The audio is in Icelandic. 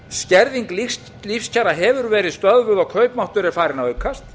skerðing lífskjara hefur verið stöðvuð og kaupmáttur er farinn að aukast